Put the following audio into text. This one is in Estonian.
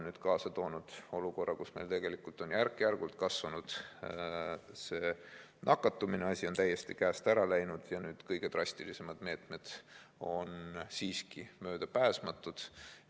See on kaasa toonud olukorra, kus meil tegelikult on järk-järgult nakatumine kasvanud, asi on täiesti käest ära läinud ja nüüd on kõige drastilisemad meetmed möödapääsmatud.